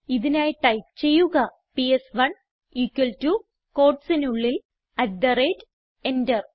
ഇതിനായി ടൈപ്പ് ചെയ്യുക പിഎസ്1 equal ടോ quotesനുള്ളിൽ അട്ട് തെ റേറ്റ് എന്റർ